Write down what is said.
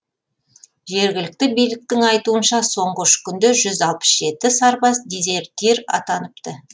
жергілікті биліктің айтуынша соңғы үш күнде жүз алпыс жеті сарбаз дезертир атаныпты